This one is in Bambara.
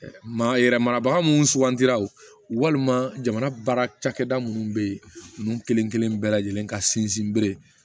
Maa yɛrɛ marabaga minnu sugantiraw walima jamana baara cakɛda minnu be yen n'u kelen kelen bɛɛ lajɛlen ka sinsin bere